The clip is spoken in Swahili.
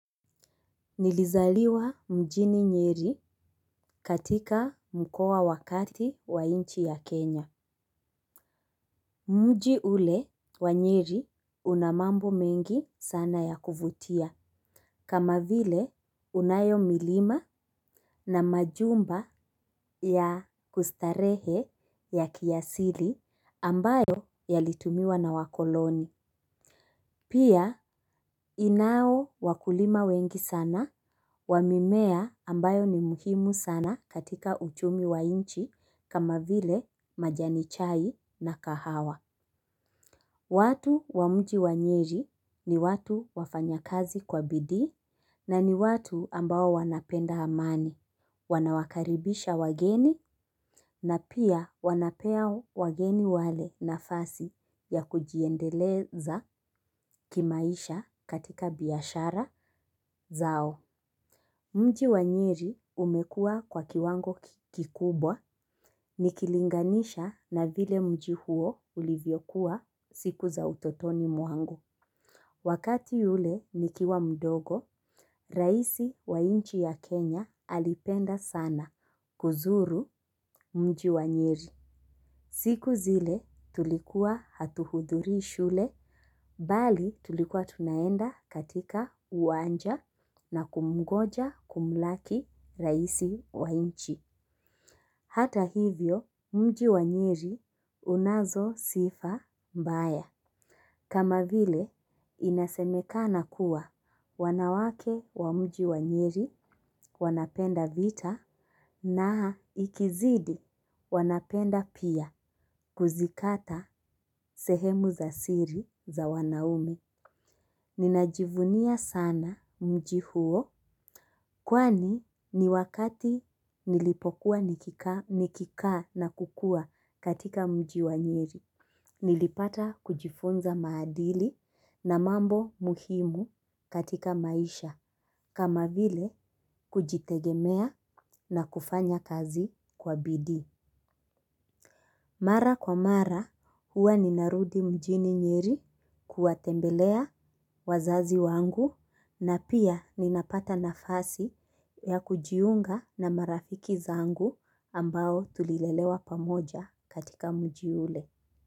Nilizaliwa mjini nyeri katika mkoa wa kati wa inchi ya Kenya. Mji ule wa nyeri unamambo mengi sana ya kuvutia. Kama vile unayo milima na majumba ya kustarehe ya kiasili ambayo yalitumiwa na wakoloni. Pia inao wakulima wengi sana wamimea ambayo ni muhimu sana katika uchumi wa inchi kama vile majani chai na kahawa. Watu wa mji wa nyeri ni watu wafanyakazi kwa bidii na ni watu ambao wanapenda amani, wanawakaribisha wageni na pia wanapea wageni wale nafasi ya kujiendeleza kimaisha katika biyashara zao. Mji wa nyeri umekua kwa kiwango kikubwa nikilinganisha na vile mji huo ulivyokuwa siku za utotoni mwangu. Wakati yule nikiwa mdogo, raisi wa inchi ya Kenya alipenda sana kuzuru mji wa nyeri. Siku zile tulikuwa hatuhudhurii shule, bali tulikuwa tunaenda katika uwanja na kumngoja kumlaki raisi wa inchi. Hata hivyo mji wa nyeri unazo sifa mbaya. Kama vile inasemekana kuwa wanawake wa mji wa nyeri wanapenda vita na ikizidi wanapenda pia kuzikata sehemu za siri za wanaume. Ninajivunia sana mji huo kwani ni wakati nilipokuwa niki kaa na kukua katika mji wa nyeri. Nilipata kujifunza maadili na mambo muhimu katika maisha kama vile kujitegemea na kufanya kazi kwa bidi. Mara kwa mara huwa ninarudi mjini nyeri kuwatembelea wazazi wangu na pia ninapata nafasi ya kujiunga na marafiki zangu ambao tulilelewa pamoja katika mji ule.